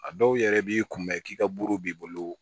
A dɔw yɛrɛ b'i kunbɛn k'i ka buru b'i bolo